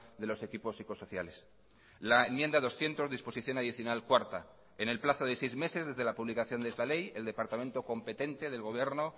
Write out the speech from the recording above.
de los equipos psicosociales la enmienda doscientos disposición adicional cuarta en el plazo de seis meses desde la publicación de esta ley el departamento competente del gobierno